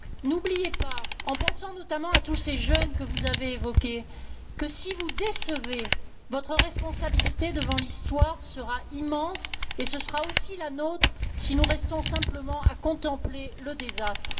N'oubliez pas, en pensant notamment à tous ces jeunes que vous avez évoqués, que si vous décevez, votre responsabilité devant l'histoire sera immense, et ce sera aussi la nôtre si nous restons simplement à contempler le désastre.